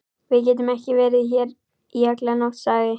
Við getum ekki verið hér í alla nótt, sagði